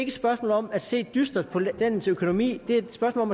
et spørgsmål om at se dystert på landets økonomi det er et spørgsmål